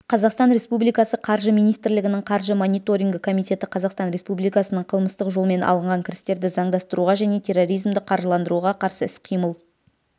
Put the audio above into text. қазақстан республикасы қаржы министрлігінің қаржы мониторингі комитеті қазақстан республикасының қылмыстық жолмен алынған кірістерді заңдастыруға және терроризмді қаржыландыруға қарсы іс-қимыл